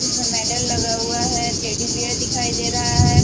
इसमें मेडल लगा हुआ है टेडी बेयर दिखाई दे रहा है।